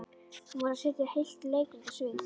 Hún varð að setja heilt leikrit á svið.